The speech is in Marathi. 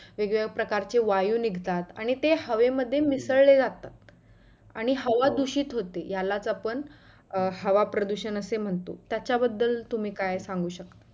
वेगवेगळ्या प्रकारचे वायू निघतात, आणि ते हवे मध्ये मिसळले जातात, आणि हवा दुषित होते यालाच आपण हवा प्रदुषण असे म्हणतो त्याच्या बदल तुम्ही काय सांगु शकता?